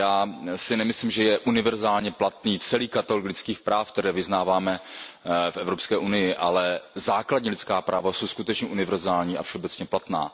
Já si nemyslím, že je univerzálně platný celý katalog lidských práv, které vyznáváme v Evropské unii, ale základní lidská práva jsou skutečně univerzální a všeobecně platná.